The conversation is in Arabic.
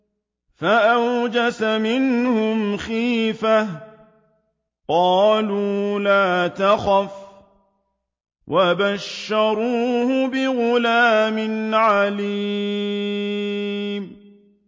فَأَوْجَسَ مِنْهُمْ خِيفَةً ۖ قَالُوا لَا تَخَفْ ۖ وَبَشَّرُوهُ بِغُلَامٍ عَلِيمٍ